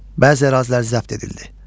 Bəzi ərazilər zəbt edildi.